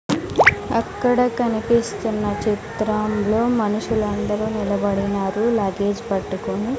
అక్కడ కనిపిస్తున్న చిత్రంలో మనుషులందరూ నిలబడినారు లగేజ్ పట్టుకొని.